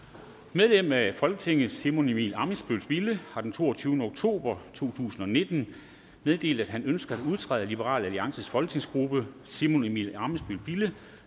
medlem af folketinget simon emil ammitzbøll bille har den toogtyvende oktober to tusind og nitten meddelt at han ønsker at udtræde af liberal alliances folketingsgruppe simon emil ammitzbøll bille